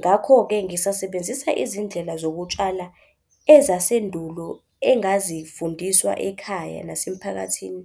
Ngakho-ke ngisasebenzisa izindlela zokutshala ezasendulo engazifundiswa ekhaya nasemphakathini.